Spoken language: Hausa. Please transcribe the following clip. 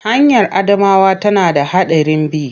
Hanyar Adamawa tana da haɗarin bi.